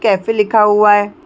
Cafe लिखा हुआ है।